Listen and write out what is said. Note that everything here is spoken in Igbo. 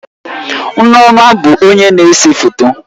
Nneoma bụ onye na-ese foto